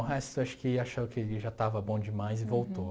O resto acho que acharam que já estava bom demais e voltou.